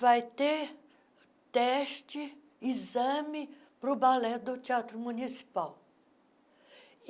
Vai ter teste, exame para o balé do Teatro Municipal.